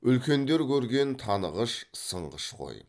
үлкендер көрген танығыш сынғыш ғой